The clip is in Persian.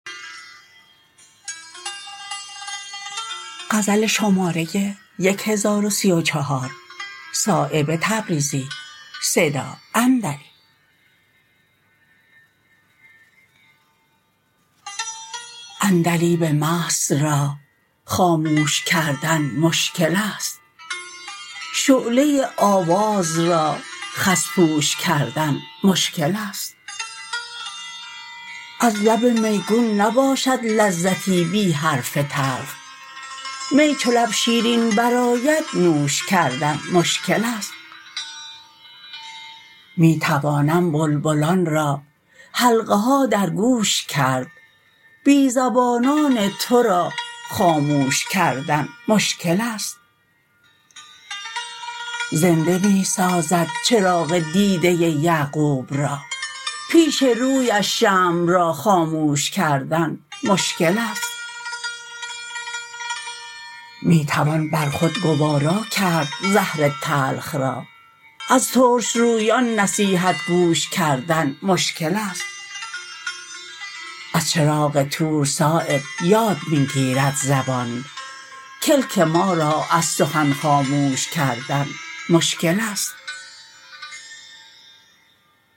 عندلیب مست را خاموش کردن مشکل است شعله آواز را خس پوش کردن مشکل است از لب میگون نباشد لذتی بی حرف تلخ می چو لب شیرین برآید نوش کردن مشکل است می توانم بلبلان را حلقه ها در گوش کرد بی زبانان ترا خاموش کردن مشکل است زنده می سازد چراغ دیده یعقوب را پیش رویش شمع را خاموش کردن مشکل است می توان بر خود گوارا کرد زهر تلخ را از ترشرویان نصیحت گوش کردن مشکل است از چراغ طور صایب یاد می گیرد زبان کلک ما را از سخن خاموش کردن مشکل است